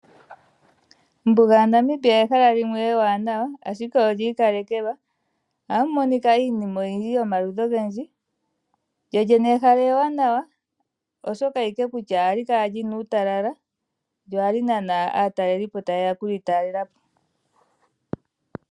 Ombuga yaNamibia ehala limwe ewanawa ashike olya ikalekelwa ohamu monika iinima oyindji yomaludhi ogendji lyolyene ehala ewanawa oshoka ashike ohali kala lina uutalala lo ohali nana aatalelipo ta yeya okulitalelapo.